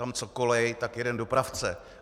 Tam co kolej, tak jeden dopravce.